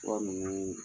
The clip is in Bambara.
Fura nunnu